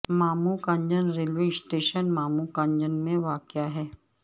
ماموں Kanjan railway station Mamu Kanjan میں واقع ہے